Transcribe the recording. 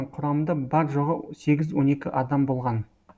құрамында бар жоғы сегіз он екі адам болған